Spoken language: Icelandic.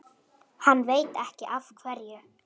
Hann veit ekki af hverju.